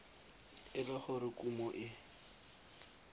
e le gore kumo e